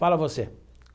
Fala você.